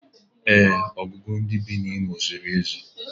Ee, ọnụọgụgụ ndị bi n'Imo steeti zuru ezu